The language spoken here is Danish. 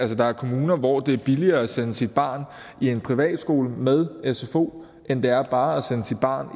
der er kommuner hvor det er billigere at sende sit barn i en privat skole med sfo end det er bare at sende sit barn